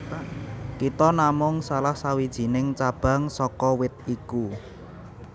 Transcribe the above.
Kita namung salah sawijining cabang saka wit iku